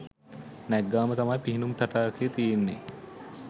නැග්ගාම තමයි පිහිනුම් තටාකය තියෙන්නේ